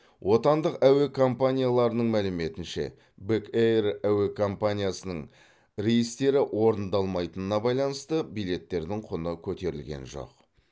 отандық әуе компанияларының мәліметінше бек эйр әуе компаниясының рейстері орындалмайтынына байланысты билеттердің құны көтерілген жоқ